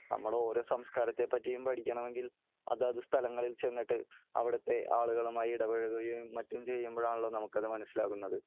നമ്മൾ ഓരോ സംസ്കാരത്തെ പറ്റിയും പടിക്കണമെങ്കിൽ അതാത് സ്ഥലങ്ങളിൽ ചെന്നിട്ട് അവിടത്തെ ആളുകളുമായി ഇടപഴകുകയും മറ്റും ചെയ്യുമ്പോൾ ആണല്ലോ നമുക്കത് മനസ്സിലാകുന്നത് .